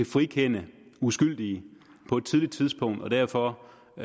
frikende uskyldige på et tidligt tidspunkt og derfor